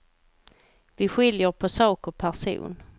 Vi skiljer på sak och person.